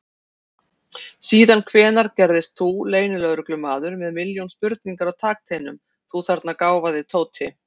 Síðan hvenær gerðist þú leynilögreglumaður með milljón spurningar á takteinum, þú þarna gáfaði Tóti!